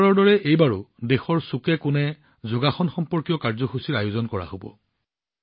প্ৰতিবাৰৰ দৰে এইবাৰো দেশৰ চুককোণে যোগাসন সম্পৰ্কীয় কাৰ্যসূচীৰ আয়োজন কৰা হব